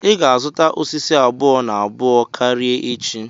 Ọ ga azụta osisi abụọ-na-abụọ karịa echi.